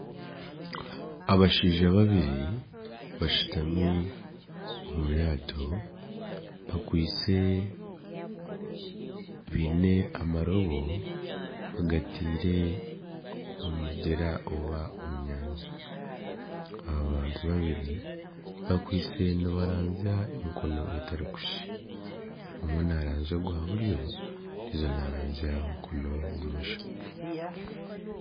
Abashaija babiri bashutami omu ryato bakwitse, baine amarooba bagataire omu mugyera oba omu nyanja, aba bantu babiri bakwitse nibaranzya omu mikono etarikushushana omwe naaranzya ogwa buryo ondiijo naranzya ogwa bumosho